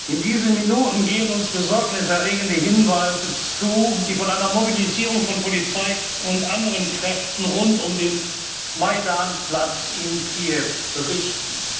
und Kollegen! In diesen Minuten gehen uns besorgniserregende Hinweise zu, die von einer Mobilisierung von Polizei und anderen Kräften rund um den Majdan Platz